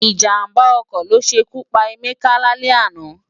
Ijámbá òkò lósékú pá Emeka lálè àná